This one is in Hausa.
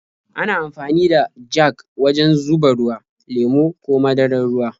Ana amfani da jag wajen zuba ruwa, lemo ko madarar ruwa.